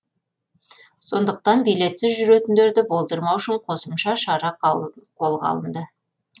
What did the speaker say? сондықтан билетсіз жүретіндерді болдырмау үшін қосымша шаралар қолға алынды